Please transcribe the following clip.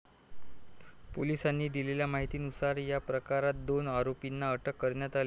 पोलिसांनी दिलेल्या माहितीनुसार, या प्रकरणात दोन आरोपींना अटक करण्यात आलीय.